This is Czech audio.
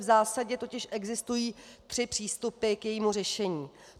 V zásadě totiž existují tři přístupy k jejímu řešení.